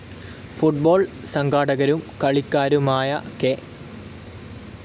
Football സംഘാടകരും കളിക്കാരുമായ K.